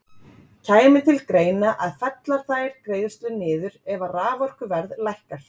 Kæmi til greina að fella þær greiðslur niður ef að raforkuverð lækkar?